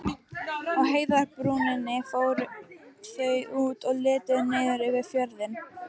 Á heiðarbrúninni fóru þau út og litu niður yfir fjörðinn.